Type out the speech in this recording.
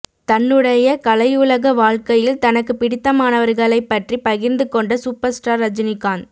தன்னுடைய கலையுலக வாழ்க்கையில் தனக்கு பிடித்தமானவர்களைப்பற்றி பகிர்ந்து கொண்ட சூப்பர்ஸ்டார் ரஜினிகாந்த்